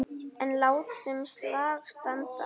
En látum slag standa.